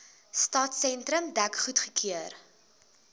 stadsentrum dek goedgekeur